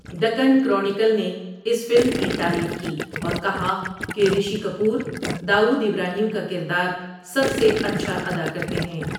Deccan Chronicle نے اس film کی تعریف کی اور کہا کہ رشی کپور داؤد ابراہیم کا کردار سب سے اچھا ادا کرتے ہیں۔